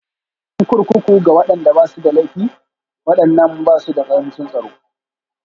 Mafi ƙarancin Kurkuku na Tsaro Ga waɗanda ba su da laifi, waɗannan ba su da ƙarancin tsaro